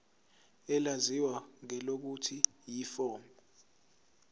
elaziwa ngelokuthi yiform